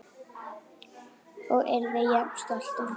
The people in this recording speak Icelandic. Og yrði jafnvel stoltur af.